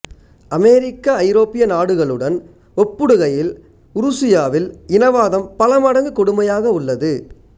அமெரிக்க ஐரோப்பிய நாடுகளுடன் ஒப்புடுகையில் உருசியாவில் இனவாதம் பலமடங்கு கொடுமையாக உள்ளது